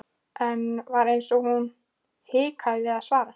Enn var eins og hún hikaði við að svara.